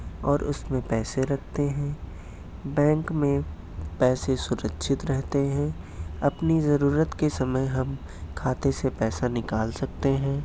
और उसमे पैसे रखते है बेंक में पैसे सुरक्षित रहते है आपनी जरूरत के समय हम खाते से पैसा निकाल सकते है।